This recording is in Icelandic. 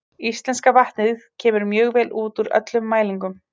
Íslenska vatnið kemur mjög vel út úr öllum mælingum.